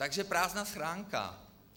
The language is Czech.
Takže prázdná schránka.